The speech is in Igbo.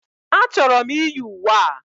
A chọrọ m iyi uwe a.